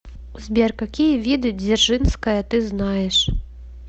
сбер какие виды дзержинская ты знаешь